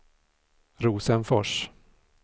Rosenfors